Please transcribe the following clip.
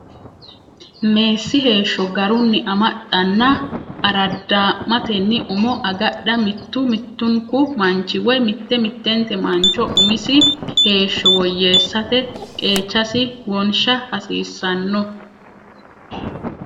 Meessi Heeshsho Garunni Amaxxanna Araadaa’matenni Umo Agadha Mittu mittunku manchi woy mitte mittenti mancho umisi heeshsho woyyeessate qeechasi wonsha hasiissanno.